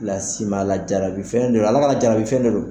las'i ma lajarabi fɛn do Ala ka lajarabi fɛn do.